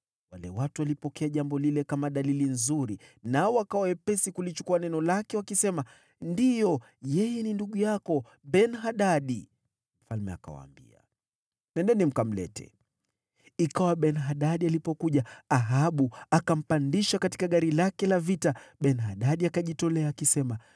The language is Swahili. Wale watu wakalipokea jambo lile kama dalili nzuri nao wakawa wepesi kulichukua neno lake wakisema, “Ndiyo, yeye ni ndugu yako Ben-Hadadi!” Mfalme akawaambia, “Nendeni mkamlete.” Ikawa Ben-Hadadi alipokuja, Ahabu akampandisha katika gari lake la vita. Ben-Hadadi akajitolea, akisema,